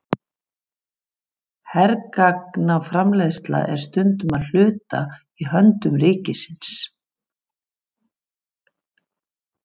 Hergagnaframleiðsla er stundum að hluta í höndum ríkisins.